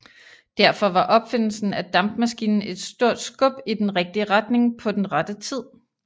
Derfor var opfindelsen af dampmaskinen et stort skub i den rigtige retning på den rette tid